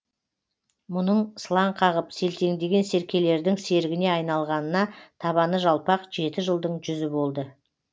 мұның сылаң қағып селтеңдеген серкелердің серігіне айналғанына табаны жалпақ жеті жылдың жүзі болды